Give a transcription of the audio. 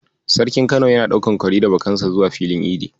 Sarkin Kano yana ɗaukan kwari da bakansa zuwa filin idi.